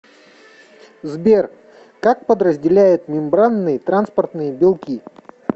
сбер как подразделяют мембранные транспортные белки